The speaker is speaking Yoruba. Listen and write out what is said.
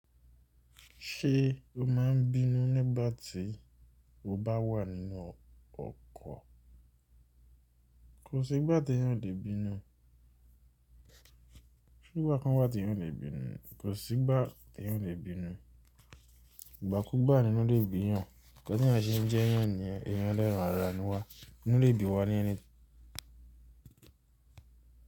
Ṣé o máa ń bínú nígbà tí o bá wà nínú ọkọ̀? Kò sí ìgbà tí èyàn ò lè bínú. Ṣé ìgbà kan wá tí èyàn ò lè bínú. Kò sí ìgbà tí èyàn ò lè bínú. Ìgbà kú gbàá nínú lè bíyan. Ǹkan tí èyàn ṣe ń jẹ èyàn nìyẹn, èyàn ẹ lẹ́ran ara ni wá. Inú lè bí wa ní ẹni tí.